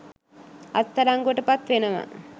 අත්අඩංගුවට පත් වෙනවා